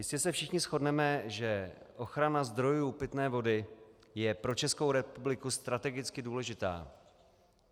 Jistě se všichni shodneme, že ochrana zdrojů pitné vody je pro Českou republiku strategicky důležitá.